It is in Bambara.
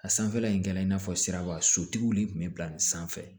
A sanfɛla in kɛ i n'a fɔ siraba sotigi de kun be bila nin sanfɛ